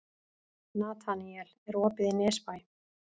Nataníel, er opið í Nesbæ?